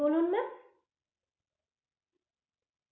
বলুন ma'am?